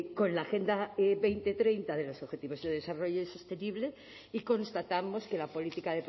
con la agenda dos mil treinta de los objetivos de desarrollo sostenible y constatamos que la política